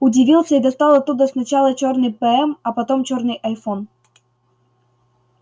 удивился и достал оттуда сначала чёрный пм а потом чёрный айфон